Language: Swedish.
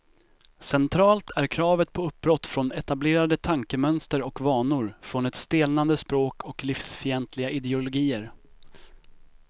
Centralt är kravet på uppbrott från etablerade tankemönster och vanor, från ett stelnande språk och livsfientliga ideologier.